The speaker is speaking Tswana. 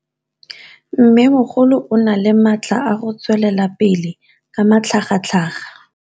Mmêmogolo o na le matla a go tswelela pele ka matlhagatlhaga.